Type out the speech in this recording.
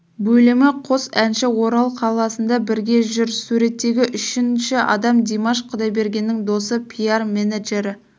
бөлімі қос әнші орал қаласында бірге жүр суреттегі үшінші адам димаш құдайбергеннің досы пиар менеджері